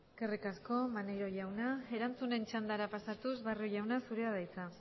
eskerrik asko maneiro jauna erantzunen txandara pasatuz barrio jauna zurea da hitza